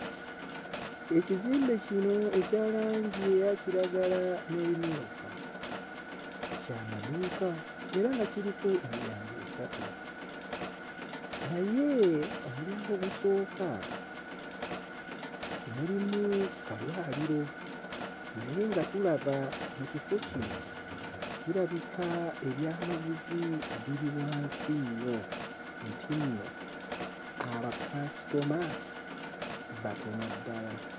Ekizimbe kino ekya langi eya kiragala n'ebimyufu kya maduuka era nga kiriko emiryango esatu. Naye omulyango ogusooka gulimu kalwaliro naye nga tulaba mu kifo kino kirabika ebyamaguzi biri wansi nnyo era nga nti nno abakaasitoma batono ddala.